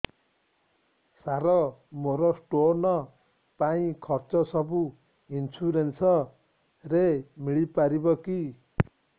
ସାର ମୋର ସ୍ଟୋନ ପାଇଁ ଖର୍ଚ୍ଚ ସବୁ ଇନ୍ସୁରେନ୍ସ ରେ ମିଳି ପାରିବ କି